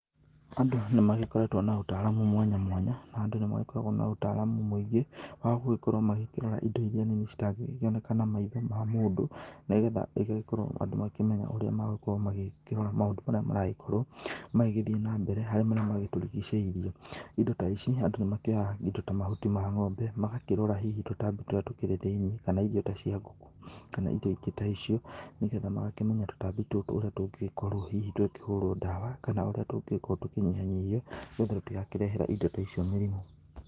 Andũ nĩ magĩkoretwo na ũtaramu mwanya mwanya, na andũ nĩ magĩkoragwo na ũtaramu mũingĩ wa gũgĩkorwo magĩkĩrora indo iria nini citangĩoneka na maitho ma mũndũ, nĩgetha igagĩkorwo andũ magĩkĩmenya ũrĩa magĩkĩrora maũndũ marĩa maragĩkorwo magĩgĩthiĩ na mbere harĩaa marĩa magĩtũrigicĩirie, indo ta ici andũ nĩ makĩoyaga indo ta mahuti ma ng'ombe magakĩrora hihi tũtambi tũrĩa tũkĩrĩ thĩiniĩ kana irio ta cia ngũkũ kana indo ingĩ ta icio nĩgetha magakĩmenya tũtambi ta tũtũ ũrĩa tũngĩkorwo hihi tũgĩkĩhũrwo dawa, kana ũrĩa tũngĩgĩkorwo tũkinyihanyihio, nĩgetha itigakĩrehere indo ta icio mĩrimũ.